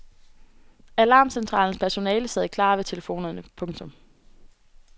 Alarmcentralens personale sad klar ved telefonerne. punktum